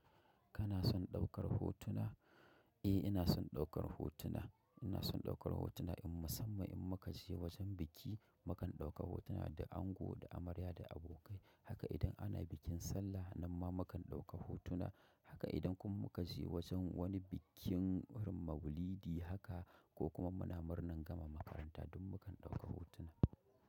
Kana son ɗaukar hotuna? Eh, inason ɗaukar hotuna. Inason ɗaukar hotuna musamman in muka je wajen biki, mukan ɗauka hotuna da ango, da amarya, da abokai. Haka idan ana bikin sallah, nan ma mukan ɗauka hotuna. Haka idan kuma mukaje wajen wani bikin maulidi haka ko kuma muna murnan gama makaranta duk mukan ɗauka hotuna.